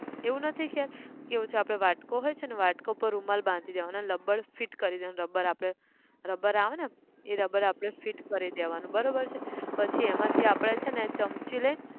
એવું નથી કે, કેવું છે આપણે વાટકો હોય છે ને વાટકો પર રૂમાલ બાંધી દેવાનો, લબ્બડ fit કરી દેવાનું rubber આપણે rubber આવે ને! એ rubber આપણે fit કરી દેવાનું, બરોબર છે, પછી એમાથીં આપણે છે ને ચમચી લઈ